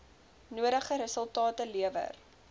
nodige resultate lewer